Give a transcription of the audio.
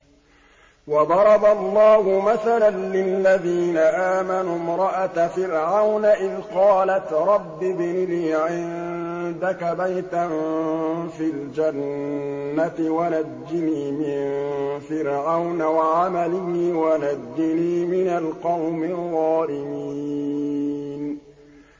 وَضَرَبَ اللَّهُ مَثَلًا لِّلَّذِينَ آمَنُوا امْرَأَتَ فِرْعَوْنَ إِذْ قَالَتْ رَبِّ ابْنِ لِي عِندَكَ بَيْتًا فِي الْجَنَّةِ وَنَجِّنِي مِن فِرْعَوْنَ وَعَمَلِهِ وَنَجِّنِي مِنَ الْقَوْمِ الظَّالِمِينَ